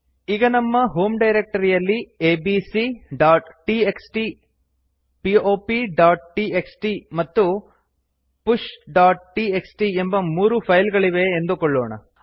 ಈಗ ನಮ್ಮ ಹೋಮ್ ಡೈರಕ್ಟರಿಯಲ್ಲಿ abcಟಿಎಕ್ಸ್ಟಿ popಟಿಎಕ್ಸ್ಟಿ ಮತ್ತು pushಟಿಎಕ್ಸ್ಟಿ ಎಂಬ ಮೂರು ಫೈಲ್ ಗಳಿವೆ ಎಂದುಕೊಳ್ಳೋಣ